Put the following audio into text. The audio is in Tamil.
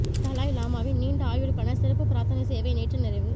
தலாய் லாமாவின் நீண்ட ஆயுளுக்கான சிறப்பு பிரார்த்தனை சேவை நேற்று நிறைவு